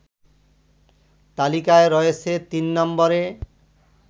তালিকায় রয়েছে তিন নম্বরে